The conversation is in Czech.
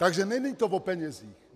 Takže není to o penězích.